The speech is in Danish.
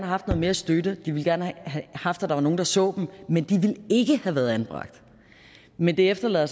haft noget mere støtte de ville gerne have haft at der var nogle der så dem men de ville ikke have været anbragt men det efterlader